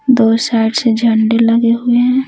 दो साइड से झंडे लगे हुए हैं।